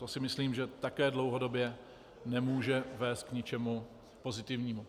To si myslím, že také dlouhodobě nemůže vést k ničemu pozitivnímu.